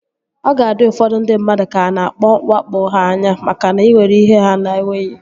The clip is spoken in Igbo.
Ọ ga-adị ụfọdụ ndị mmadụ ka a na-awakpo ha anya makana ị nwere ihe ha na-enweghị